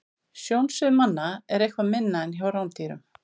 Sjónsvið manna er eitthvað minna en hjá rándýrum.